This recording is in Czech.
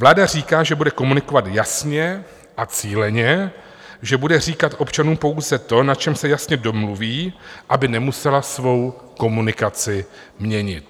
Vláda říká, že bude komunikovat jasně a cíleně, že bude říkat občanům pouze to, na čem se jasně domluví, aby nemusela svou komunikaci měnit.